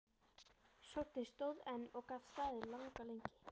Sónninn stóð enn og gat staðið langa lengi.